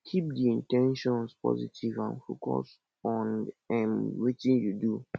keep di in ten tions positive and focus on um wetin you do